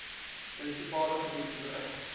munisipale gebied gebruik